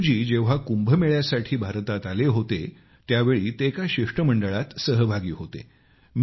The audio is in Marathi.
सेदूजी जेव्हा कुंभ मेळ्यासाठी भारतात आले होते त्यावेळी ते एका शिष्टमंडळात सहभागी होते